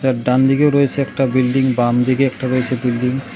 এর ডানদিকেও রয়েসে একটা বিল্ডিং বাম দিকে একটা রয়েছে বিল্ডিং ।